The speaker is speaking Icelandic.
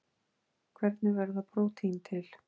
Hvernig verða prótín til?